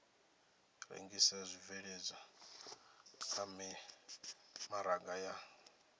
rengisa zwibveledzwa kha mimaraga ya